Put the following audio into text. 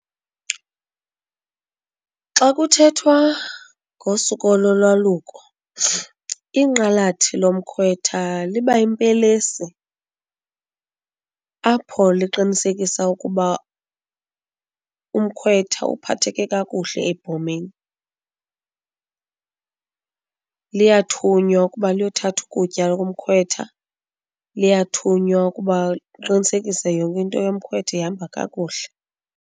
Xa kuthethwa ngosiko lolwaluko inqalathi lomkhwetha liba yimpelesi apho liqinisekisa ukuba umkhwetha uphatheke kakuhle ebhomeni. Liyathunywa ukuba liyothatha ukutya komkhwetha, liyathunywa ukuba liqinisekise yonke into yomkhwetha ihamba kakuhle.